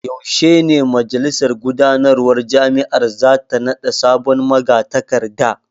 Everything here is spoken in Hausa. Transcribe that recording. Yaushe ne majalisar gudanarwar jami’ar za ta nada sabon magatakarda?